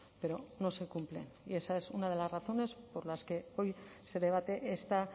pero no se cumple y esa es una de las razones por las que hoy se debate esta